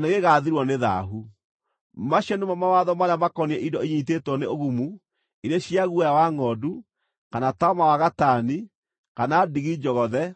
Macio nĩmo mawatho marĩa makoniĩ indo inyiitĩtwo nĩ ũgumu, irĩ cia guoya wa ngʼondu, kana taama wa gatani, kana ndigi njogothe,